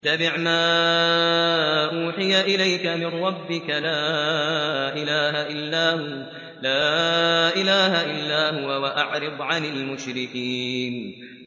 اتَّبِعْ مَا أُوحِيَ إِلَيْكَ مِن رَّبِّكَ ۖ لَا إِلَٰهَ إِلَّا هُوَ ۖ وَأَعْرِضْ عَنِ الْمُشْرِكِينَ